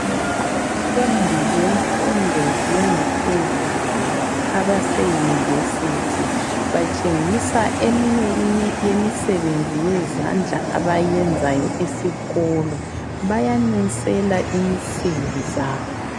Abafundi bemfundo yangaphezulu abaseyunivesithi batshengisa eminye yemisebenzi yezandla abayenzayo esikolo bayanunsela insimbi zabo.